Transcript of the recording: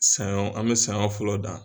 Sanyɔn, an bɛ sanyɔn fɔlɔ dan.